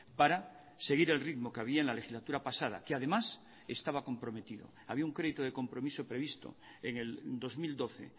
para seguir el ritmo que había en la legislatura pasada que además estaba comprometido había un crédito de compromiso previsto en el dos mil doce